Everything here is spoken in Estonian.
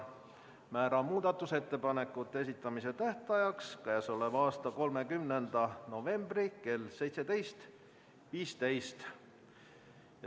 Määran muudatusettepanekute esitamise tähtajaks k.a 30. novembri kell 17.15.